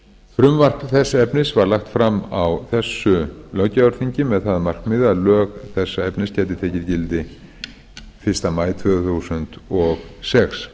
frumvarp þess efnis verði lagt fram á þessu löggjafarþingi með það að markmiði að lög þessa efnis geti tekið gildi fyrsta maí tvö þúsund og sex